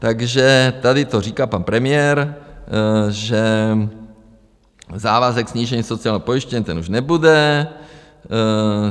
Takže tady to říká pan premiér, že závazek snížení sociálního pojištění, ten už nebude.